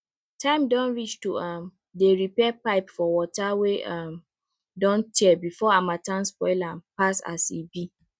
time don reach to um dey repair pipe for water wey um don tear before harmattan spoil am pass as e be